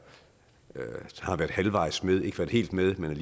har været halvvejs med ikke været helt med men